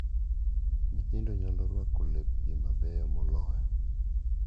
Nyithindo nyalo rwako lepgi mabeyo moloyo,